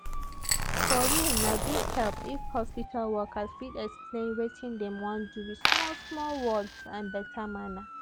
for realna big help if hospital workers fit explain wetin dem wan do with small small words and better manner.